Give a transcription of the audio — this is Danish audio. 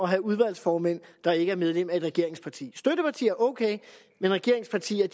have udvalgsformænd der ikke er medlemmer af et regeringsparti støttepartier okay men regeringspartierne